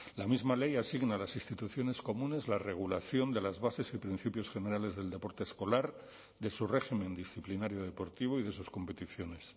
la misma ley asigna a las instituciones comunes la regulación de las bases y principios generales del deporte escolar de su régimen disciplinario deportivo y de sus competiciones